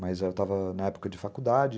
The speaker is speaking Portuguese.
Mas eu estava na época de faculdade.